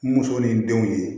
Muso ni denw ye